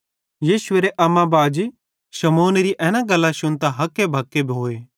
यीशुएरे अम्मा बाजी शमौनेरी एना गल्लां शुन्तां हक्केबक्के भोए